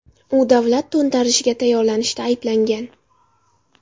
U davlat to‘ntarishiga tayyorlanishda ayblangan.